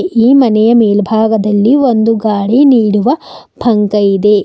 ಈ ಮನೆಯ ಮೇಲ್ಭಾಗದಲ್ಲಿ ಒಂದು ಗಾಳಿ ನೀಡುವ ಪಂಕ ಇದೆ.